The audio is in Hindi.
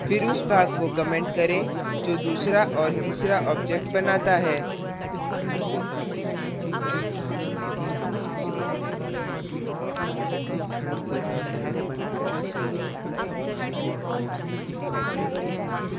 फिर उस भाग को comment करें जो दूसरा और तीसरा objects बनाता है